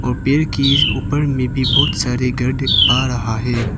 और पेड़ के ऊपर में भी बहोत सारे गढ्ढे आ रहा है।